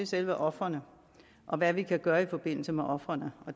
selve ofrene og hvad vi kan gøre i forbindelse med ofrene